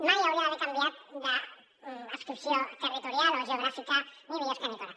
mai haurien d’haver canviat d’adscripció territorial o geogràfica ni biosca ni torà